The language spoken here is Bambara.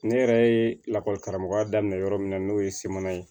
Ne yɛrɛ ye lakɔli karamɔgɔya daminɛ yɔrɔ min na n'o ye semana ye